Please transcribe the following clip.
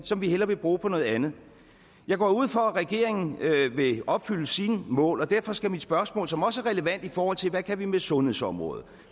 som vi hellere vil bruge på noget andet jeg går ud fra at regeringen vil opfylde sine mål og derfor skal mit spørgsmål som også er relevant i forhold til hvad vi kan med sundhedsområdet